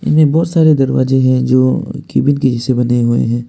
इनमें बहुत सारे दरवाजे हैं जो केबिन जैसे बने हुए है।